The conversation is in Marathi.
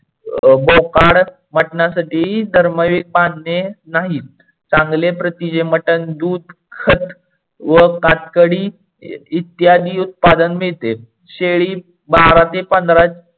बोकाड मटणसाठी बांधणे नाहीत चांगले प्रतीचे मटन दूध, खत व कातकडी इत्यादि उत्पादन मिडते. शेडी बारा ते पंधरा